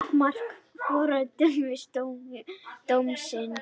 Takmarkað fordæmisgildi dómsins